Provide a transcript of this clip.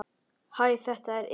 Hæ, þetta er Emil.